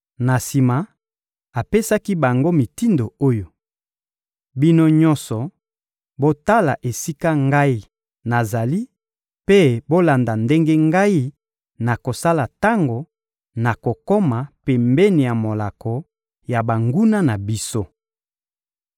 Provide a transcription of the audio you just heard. Na sima, apesaki bango mitindo oyo: «Bino nyonso, botala esika ngai nazali mpe bolanda ndenge ngai nakosala tango nakokoma pembeni ya molako ya banguna na biso.